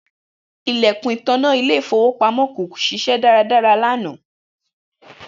Ilẹkun itanna ile-ifowopamọ ko ṣiṣẹ daradara lana.